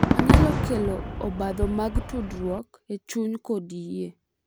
Onyalo kelo obadho mag tudruok e chuny kod yie.